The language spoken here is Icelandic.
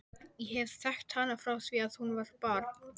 Ég hef þekkt hana frá því að hún var barn.